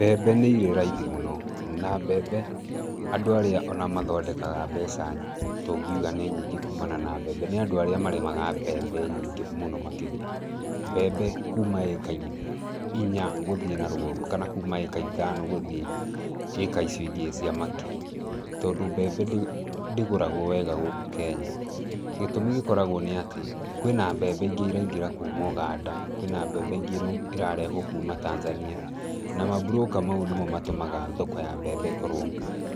Mbembe nĩ irĩ raithi mũno. Na mbembe, andũ arĩa ona mathondekaga mbeca tũngiuga nĩ nyingĩ kumana na mbembe. Nĩ andũ arĩa marĩmaga mbembe nyingĩ mũno makĩria. Mbembe, kuma ĩka inya, gũthiĩ na rũgongo. Kana kuuma ĩka ithano gũthiĩ ĩĩka icio ingĩ cia makiri. Tondũ mbembe ndĩ, ndĩgũragwo wega gũkũ Kenya. Gĩtũmi gĩkoragwo nĩ atĩ, kwĩna mbembe ingĩ iraingĩra kuuma Uganda, kwĩna mbembe ingĩ ĩrarehwo kuuma Tanzania. Na mamburũka mau nĩmo matũmaga thoko ya mbembe ĩkorwo